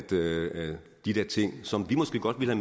de der ting som vi måske godt ville